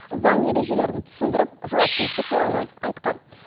заң ережелерін түсіндіріп жауапкершілік туралы айтқан